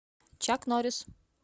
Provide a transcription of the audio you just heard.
чак норис